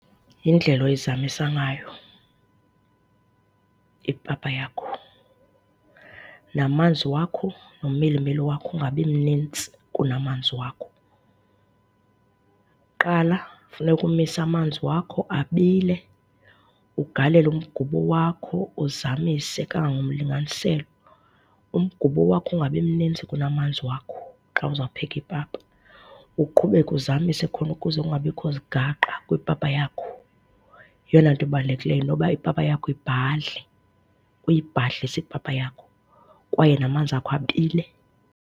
Yindlela oyizamisa ngayo ipapa yakho. Namanzi wakho nomilimili wakho ungabi mnintsi kunamanzi wakho. Qala funeka umise amanzi wakho abile, ugalele umgubo wakho, uzamise kangagomlinganiselo. Umgubo wakho ungabi mnintsi kunamanzi wakho xa uzawupheka ipapa. Uqhubeka uzamise khona kuze kungabikho zigaqa kwipapa yakho, yeyona nto ibalulekileyo noba ipapa yakho ibhadle. Uyibhadlise ipapa yakho kwaye namanzi akho abile.